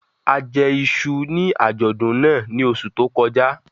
A jẹ iṣu ní àjọ̀dún náà ní oṣù tó kọjá